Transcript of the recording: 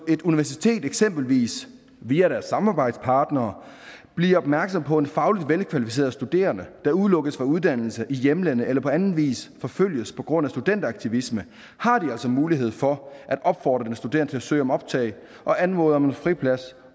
et universitet eksempelvis via deres samarbejdspartnere bliver opmærksom på en fagligt velkvalificeret studerende der udelukkes fra uddannelse i hjemlandet eller på anden vis forfølges på grund af studenteraktivisme har de altså mulighed for at opfordre den studerende søge om optag og anmode om en friplads